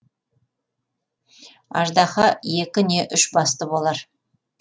аждаһа екі не үш басты болар